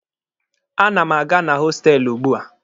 A na m aga na hostelụ ugbua.